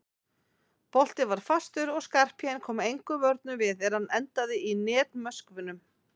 Boltinn var fastur og Skarphéðinn kom engum vörnum við er hann endaði í netmöskvunum.